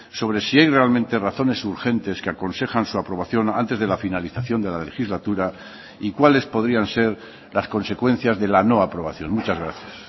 sobre si hay realmente razones urgentes que aconsejan su aprobación antes de la finalización de la legislatura y cuáles podrían ser las consecuencias de la no aprobación muchas gracias